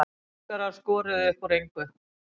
Búlgarar skoruðu upp úr engu